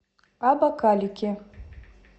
абакалики